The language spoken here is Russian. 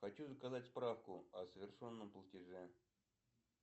хочу заказать справку о совершенном платеже